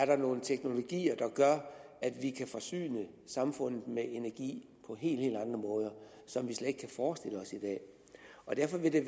være nogle teknologier der gør at vi kan forsyne samfundet med energi på helt helt andre måder som vi slet ikke kan forestille os i dag og derfor vil det